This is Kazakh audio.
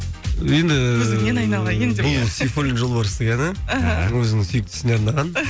енді көзіңнен айналайын деп бұл сейфуллин жолбарыстың әні іхі өзінің сүйіктісіне арнаған